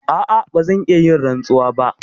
A'a, ba zan iya yin rantsuwa ba.